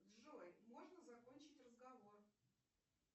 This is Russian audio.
джой можно закончить разговор